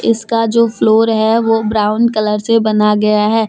इसका जो फ्लोर है वह ब्राउन कलर से बना गया है।